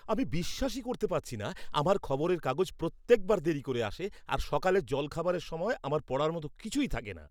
আমি বিশ্বাসই করতে পারছি না! আমার খবরের কাগজ প্রত্যেকবার দেরি করে আসে, আর সকালের জলখাবারের সময় আমার পড়ার মতো কিছুই থাকে না।